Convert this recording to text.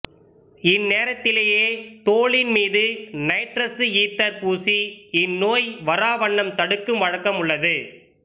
இந்நேரத்திலேயே தோலின் மீது nitrous ether பூசி இந்நோய் வராவண்ணம் தடுக்கும் வழக்கம் உள்ளது